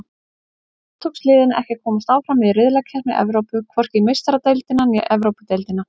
Þá tókst liðinu ekki að komast áfram í riðlakeppni Evrópu, hvorki í Meistaradeildina né Evrópudeildina.